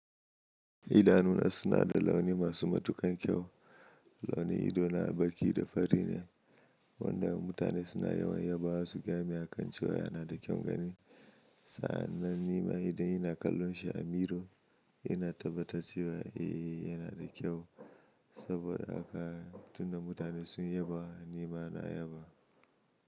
Idanuna suna da launi masu matuƙan kyau. Launi ido na baƙi da fari ne wanda mutane suna yawan yaba wa su gami a kan cewa yana da kyaun gani. Sa'an nan nima idan ina kallon shi a miro ina tabbatar cewa eh yana da kyau saboda haka tun da mutane sun yaba nima na yaba.